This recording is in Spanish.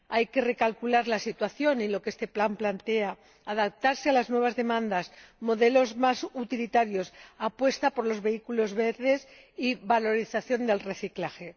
Hay que recalcular la situación en lo que este plan plantea y adaptarse a las nuevas demandas modelos más utilitarios, apuesta por los vehículos verdes y valorización del reciclaje.